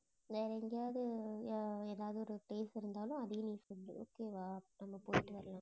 வேற எங்கேயாவது எ~ எதாவது ஒரு place இருந்தாலும், அதையும் நீ சொல்லு okay வா நம்ம போயிட்டு வரலாம்.